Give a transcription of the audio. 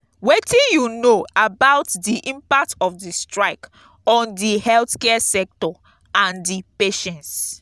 wetin you know about di impact of di strike on di healthcare sector and di patients?